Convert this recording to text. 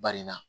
Baria